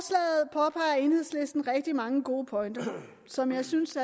i enhedslisten rigtig mange gode pointer som jeg synes